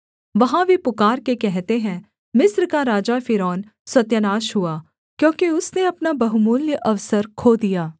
वहाँ वे पुकारके कहते हैं मिस्र का राजा फ़िरौन सत्यानाश हुआ क्योंकि उसने अपना बहुमूल्य अवसर खो दिया